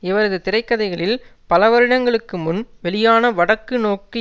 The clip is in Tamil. இவரது திரைக்கதையில் பல வருடங்களுக்குமுன் வெளியான வடக்கு நோக்கு